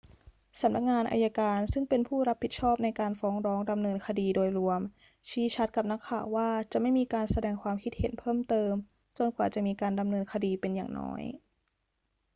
สำนักงานอัยการ ซึ่งเป็นผู้รับผิดชอบในการฟ้องร้องดำเนินคดีโดยรวม ชี้ชัดกับนักข่าวว่าจะไม่มีการแสดงความคิดเห็นเพิ่มเติมจนกว่าจะมีการดำเนินคดีเป็นอย่างน้อย